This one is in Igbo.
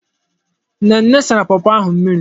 Nnenna sara pọpọ ahụ mmiri.